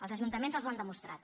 els ajuntaments els ho han demostrat